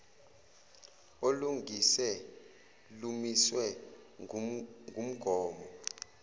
olungase lumiswe ngumgomo